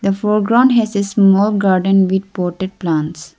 the foreground has a small garden with potted plants.